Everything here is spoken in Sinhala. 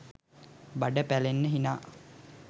බඩ පැලෙන්න හිනා